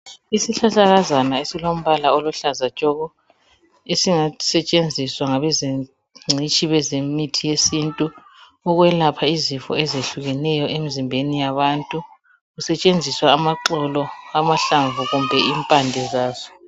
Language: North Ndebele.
Isihlahlakazana esilombala oluhlaza tshoko. Esingasetshenziswa ngabe zengcitshi bezemithi yesintu . Ukwelapha izifo ezehlukeneyo emzimbeni yabantu .Kusetshenziswa ,amaxolo ,amahlamvu kumbe impande zaso .